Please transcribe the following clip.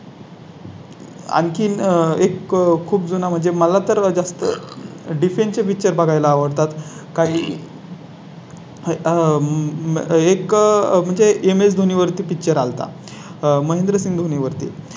अधिकाधिक सैनिक त्यांना लाभले गेले. त्यामुळे काही वेळा नंतर छत्रपती संभाजी महाराज हे अ न छत्रपती या पदावर आले.